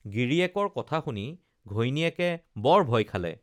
গিৰীয়েকৰ কথা শুনি ঘৈণীয়েকে বৰ ভয় খালে